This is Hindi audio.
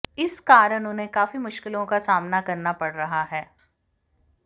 इस कारण उन्हें काफी मुश्किलों का सामना करना पड़ रहा है